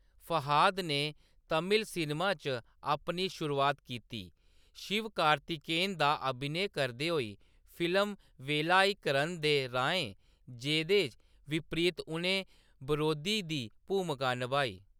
फहाद ने तमिल सिनेमा च अपनी शुरुआत कीती, शिवकार्तिकेयन दा अभिनय करदे होई फिल्म वेलाइकरन दे राहें, जेह्‌दे बिपरीत उʼनें बरोधी दी भूमका निभाई।